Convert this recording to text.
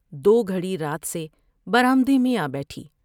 دو گھڑی رات سے برآمدے میں آ بیٹھی